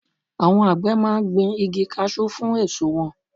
Àwọn àgbẹ̀ máa ń gbin igi kasú fún èso wọn.